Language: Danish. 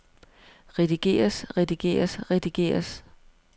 redigeres redigeres redigeres